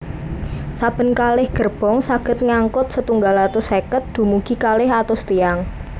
Saben kalih gerbong saged ngangkut setunggal atus seket dumugi kalih atus tiyang